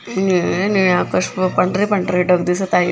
निळे निळे आकाश व पांढरे पांढरे ढग दिसत आहेत.